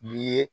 N'i ye